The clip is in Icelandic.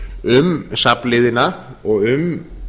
um safnliðina og um